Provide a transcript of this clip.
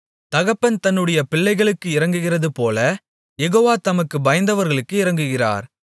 தகப்பன் தன்னுடைய பிள்ளைகளுக்கு இரங்குகிறதுபோல யெகோவா தமக்குப் பயந்தவர்களுக்கு இரங்குகிறார்